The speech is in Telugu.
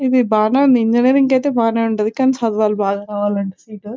ఇది బానే ఉంది ఇంజనీరింగ్ అయితే బాగానే ఉంటది కానీ చదవాలి బాగా రావాలంటే సీట్ .